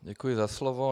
Děkuji za slovo.